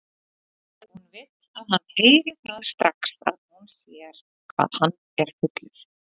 Hún vill að hann heyri það strax að hún sér hvað hann er fullur.